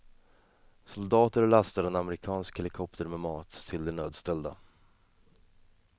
Soldater lastar en amerikansk helikopter med mat till de nödställda.